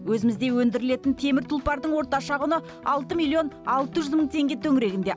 өзімізде өндірілетін темір тұлпардың орташа құны алты миллионн алты жүз мың теңге төңірегінде